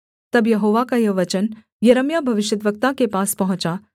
तब यहोवा का यह वचन यिर्मयाह भविष्यद्वक्ता के पास पहुँचा